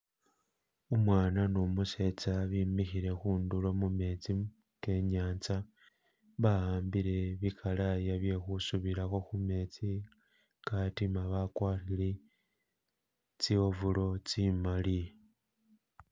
Umwana numusetsa bimikile khudulo mumetsi kenyatsa bahambile bi khalaya bwe khusubilakho khu metsi katima bagwarile tso overall tsimali